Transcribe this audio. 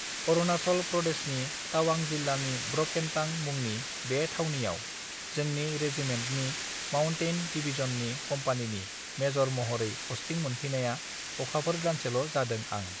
अरुणाचल प्रदेशनि टावां जिल्लानि ब्रकेनटां मुंनि बे थावनियाव जोंनि रेजिमेन्टनि माउन्टेइन डिभिजननि कम्पानिनि मेजर महरै पष्टीं मोनफैनाया अखाफोर दानसेल जादों आं